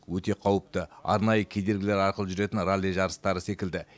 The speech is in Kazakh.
өте қауіпті арнайы кедергілер арқылы жүретін ралли жарыстары секілді